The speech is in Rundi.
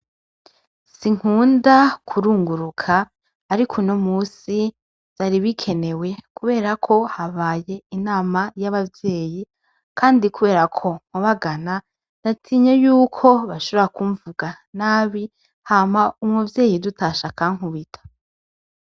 Sinkunda kurunguruka ariko uno musi vyari bikenewe kubera ko habaye inama yabavyeyi kandi kubera ko nkubagana natinye yuko bashobora kumvuga nabi hama umuvyeyi dutashe akankubita